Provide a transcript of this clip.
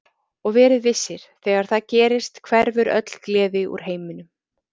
Og verið vissir, þegar það gerist hverfur öll gleði úr heiminum.